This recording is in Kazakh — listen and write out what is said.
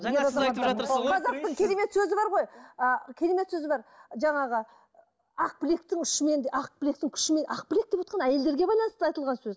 жаңа сіз айтып жатырсыз ғой қазақтың керемет сөзі бар ғой ы керемет сөзі бар жаңағы ақ білектің ұшымен де ақ білектің күшімен ақ білек деп отырған әйелдерге байланысты айтылған сөз